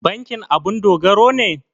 Bankin abun dogaro ne?